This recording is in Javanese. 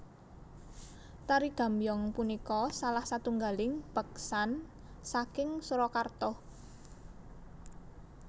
Tari Gambyong punika salah satunggaling beksan saking Surakarta